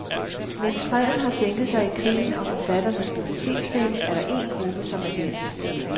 Mens freden har sænket sig i krigen om forfatternes bibliotekspenge, er der én gruppe, som er glemt.